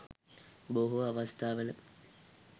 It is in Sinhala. බොහෝ අවස්ථාවල